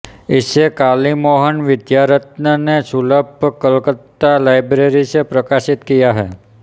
इसे कालीमोहन विद्यारत्न ने सुलभ कलकत्ता लाइब्रेरी से प्रकाशित किया है